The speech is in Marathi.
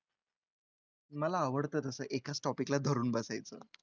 मला आवडतं तसं एकाच topic ला धरून बसायचं.